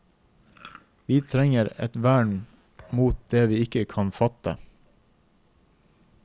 Vi trenger et vern mot det vi ikke kan fatte.